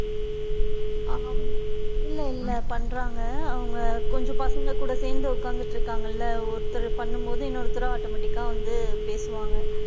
ஆமா, இல்ல இல்ல பண்றாங்க, அவுங்க கொஞ்சம் பசங்க கூட சேந்து உட்காந்துட்டு இருக்காங்கள ஒருத்தர் பண்ணும் போது இன்னொருத்தரும் automatic கா வந்து பேசுவாங்க.